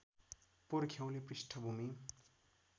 पुर्ख्यौली पृष्ठभूमि